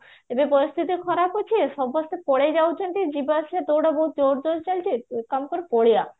ଏବେ ପରିସ୍ଥିତି ଖରାପ ଅଛି ସମସ୍ତେ ପଳେଈ ଯାଉଛନ୍ତି ଯିବା ଆସିବା ଗୋଟେ କାମ କର ପଳେଇବା